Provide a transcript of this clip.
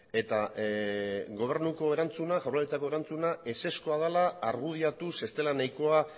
eta gobernuko erantzuna jaurlaritzako erantzuna ezezkoa dela argudiatuz ez dela nahikoa